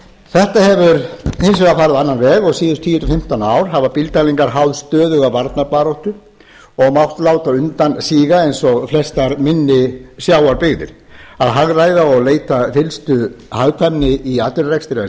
þetta hefur hins vegar farið á annan veg og síðustu tíu til fimmtán ár hafa bílddælingar háð stöðuga varnarbaráttu og mátt láta undan síga eins og flestar minni sjávarbyggðir að hagræða og leita fyllstu hagkvæmni í atvinnurekstri er